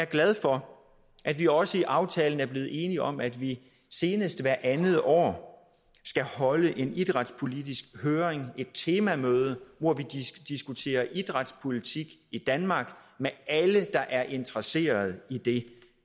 glad for at vi også i aftalen er blevet enige om at vi senest hvert andet år skal holde en idrætspolitisk høring et temamøde hvor vi diskuterer idrætspolitik i danmark med alle der er interesseret i det